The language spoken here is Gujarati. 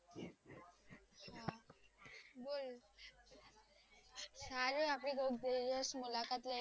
સારું આપડે કોક દિવસ મુલાકાત લઈશુ